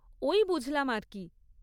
ওই বুঝলাম আর কী!